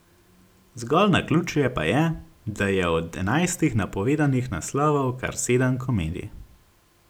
Zgolj naključje pa je, da je od enajstih napovedanih naslovov kar sedem komedij.